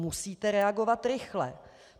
Musíte reagovat rychle.